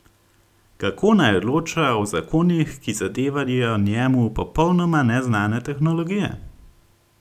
Kako naj odloča o zakonih, ki zadevajo njemu popolnoma neznane tehnologije?